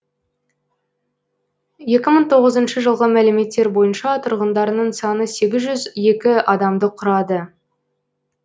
екі мың тоғызыншы жылғы мәліметтер бойынша тұрғындарының саны сегіз жүз екі адамды құрады